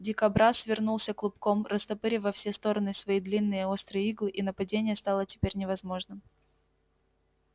дикобраз свернулся клубком растопырив во все стороны свои длинные острые иглы и нападение стало теперь невозможным